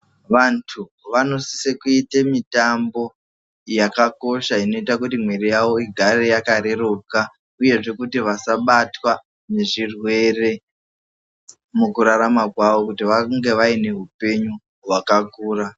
Vantu vanosise kuite mitambo yakakosha inoita kuti mwiri yavo igare yakareruka uyezve kuti vasabatwa ngezvirwere mukurarama kwavo kuti vange vaine hupenyu hwakakura .